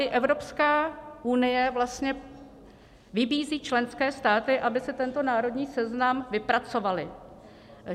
I Evropská unie vlastně vybízí členské státy, aby si tento národní seznam vypracovaly.